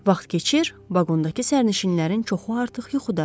Vaxt keçir, vaqondakı sərnişinlərin çoxu artıq yuxudadır.